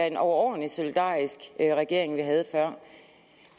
en overordentlig solidarisk regering vi havde før